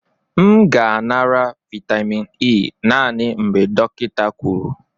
M ga-anara vitamin E naanị mgbe dọkịta kwuru.